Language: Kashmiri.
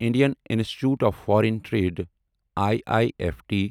Indian Institute of Foreign Trade I I F T